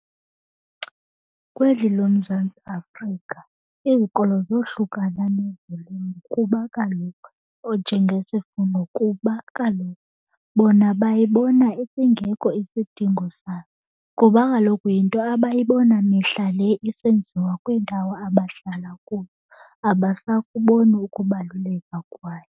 Kweli loMzantsi Afrika izikolo zohlukana nezolimo kuba kaloku, onjengesifundo, kuba kaloku bona bayibona singekho isidingo sayo. Kuba kaloku yinto abayibona mihla le isenziwa kwiindawo abahlala kuyo. Abasakuboni ukubaluleka kwayo.